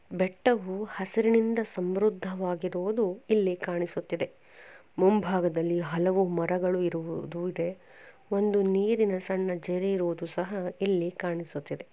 ಬೆಟ್ಟವು ಹಸಿರಿನಿಂದ ಸಮೃದವಾಗಿರುವುದು ಇಲ್ಲಿ ಕಾಣಿಸುತ್ತಿದೆ ಮುಂಭಾಗದಲ್ಲಿ ಹಲವು ಮರಗಳು ಇರುವುದು ಇದೆ ಒಂದು ನೀರಿನ ಸಣ್ಣ ಜರಿ ಇರುವುದು ಸಹ ಇಲ್ಲಿ ಕಾಣಿಸುತ್ತಿದೆ .